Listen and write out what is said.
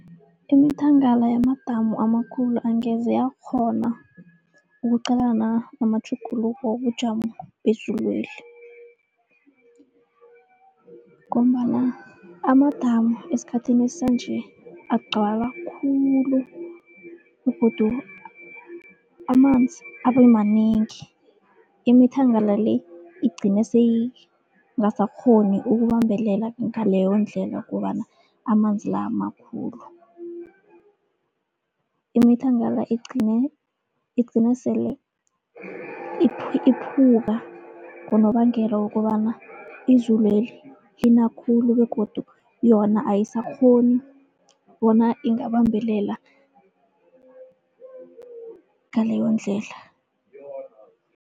Imithangala yamadamu amakhulu angeze yakghona ukuqalana namatjhuguluko wobujamo bezulweli. Ngombana amadamu esikhathini sanje agcwala khulu begodu amanzi abemanengi, imithangala le igcine seyingasakghoni ukubambelela ngaleyo ndlela ngombana amanzi la makhulu. Imithangala igcine, igcina sele iphuka ngonobangela wokobana, izulweli lina khulu begodu yona ayisakghoni bona ingabambelela ngaleyo ndlela.